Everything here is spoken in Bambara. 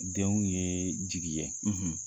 Denw ye jigi ye.